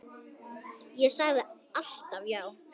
Ég sagði alltaf já.